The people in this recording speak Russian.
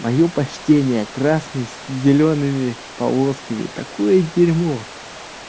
моё почтение красный с зелёными полосками такое дерьмо